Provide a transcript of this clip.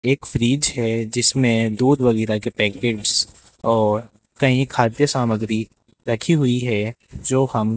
एक फ्रिज है जिसमें दूध वगैरा के पैकेट्स और कईं खाद्य सामग्री रखी हुई है जो हम --